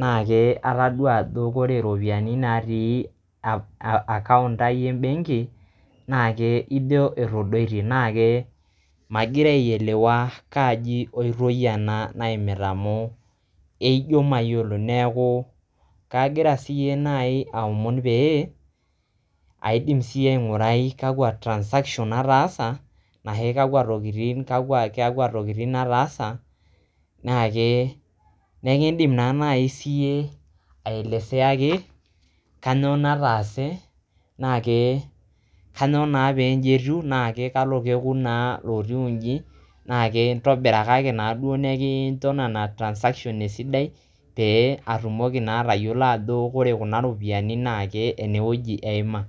na ke ataduaa ajo ore iropiyian natii aa account ai ebenki nake ijo etodoitie na ke magira ailewa kaji oitoi ena naimita amu eijo mayiolo neku kagira si nai aomon pee aidim siyie aingurai kakwa transactions ataasa nahe kakwa tokitin ataasa nake neikidim na nai siiyie aeleseaki kanyooo nataase naa kanyoo naa pee ini etiu naa kalo kekun naa kalo naa kekun naa lootiu inji na ke ntobirakaki naa duoo nekincho nena transaction esidai pee atumoki naa atayiolo ajo ore kuna ropiyiani naa ake ene wueji eima.